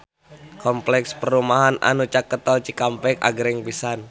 Kompleks perumahan anu caket Tol Cikampek agreng pisan